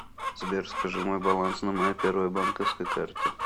сбер скажи мой баланс на моей первой банковской карте